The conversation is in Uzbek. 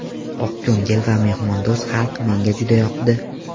Oqko‘ngil va mehmondo‘st xalq menga juda yoqdi.